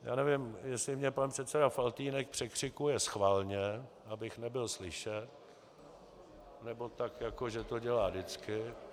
Já nevím, jestli mě pan předseda Faltýnek překřikuje schválně, abych nebyl slyšet, nebo tak jako že to dělá vždycky.